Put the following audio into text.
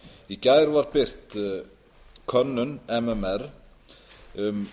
í gær var birt könnun mmr um